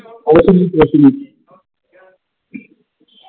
ਉਸ ਦੀ ਪੋਤਰੀ ,